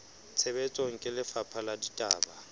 tshebetsong ke lefapha la ditaba